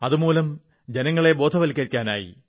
അതുമൂലം ജനങ്ങളെ ബോധവത്കരിക്കാനായി